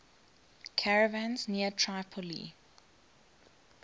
caravans near tripoli